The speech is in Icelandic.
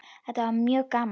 Þetta var mjög gaman.